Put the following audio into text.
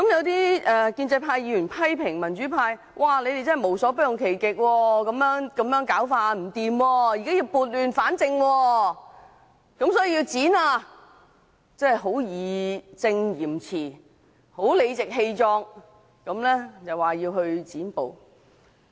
有建制派議員批評民主派無所不用其極，說我們這樣做十分不妥，所以要撥亂反正，要"剪布"，義正詞嚴、理直氣壯地要"剪布"。